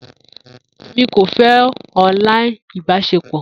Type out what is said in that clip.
Emi ko fẹ online ibaṣepọ